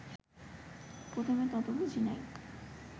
প্রথমে তত বুঝি নাই